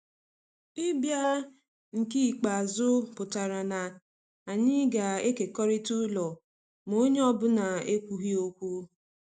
Ịbịa nke ikpeazụ pụtara na anyị ga-ekekọrịta ụlọ, ma onye ọ bụla ekwughị okwu.